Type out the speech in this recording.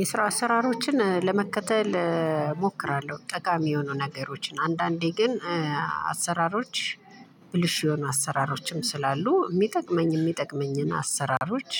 የስራ አሰራሮችን ለመከተል እሞክራለሁ ጠቃሚ የሆኑ ነገሮችን አንዳንዴ ግን አሰራሮች ብልሹ የሆኑ አሰራሮችም ስላሉ የሚጠቅመኝ የሚጠቅመኝን አሰራሮች